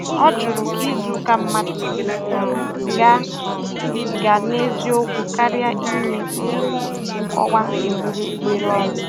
Ọ jụrụ ka izuụka mmadụ si um gaa um gaa n'eziokwu, karịa inye um nkọwa egbugbereọnụ